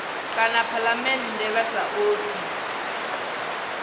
kana phalamennde vha sa ofhi